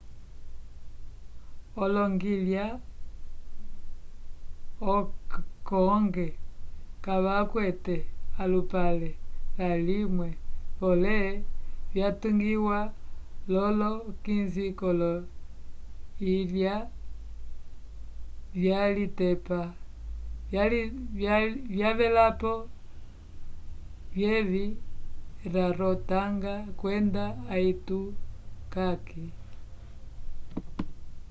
oloyilya cook kavakwete alupale lavimwe polé vyatungiwa lolo 15 k'oloyilya vyalitepa vyavelapo vyevi rarotanga kwenda aitutaki